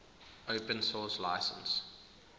open source license